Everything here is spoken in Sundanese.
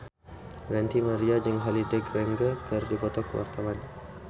Ranty Maria jeung Holliday Grainger keur dipoto ku wartawan